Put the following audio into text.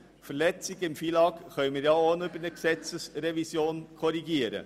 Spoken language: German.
Verletzungen des FILAG können wir auch über eine Gesetzesrevision korrigieren.